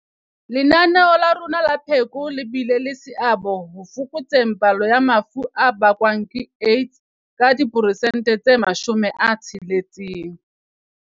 Lenaneo la rona la pheko le bile le seabo ho fokotseng palo ya mafu a bakwang ke AIDS ka diperesente tse 60.